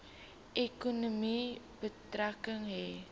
ekonomie betrekking hê